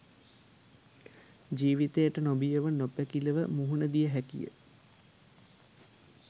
ජීවිතයට නොබියව නොපැකිළව මුහුණ දිය හැකිය.